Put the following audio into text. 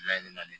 Laɲini de